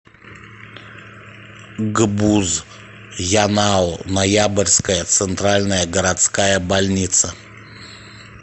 гбуз янао ноябрьская центральная городская больница